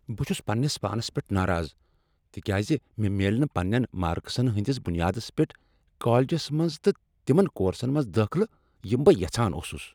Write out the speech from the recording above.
بہٕ چھس پننس پانس پیٹھ ناراض تکیاز مےٚ میلہ نہٕ پننین مارکسن ہٕندس بنیادس پیٹھ کالجس منز تہٕ تمن کورسن منٛز دٲخلہٕ یم بہٕ یژھان اوسس۔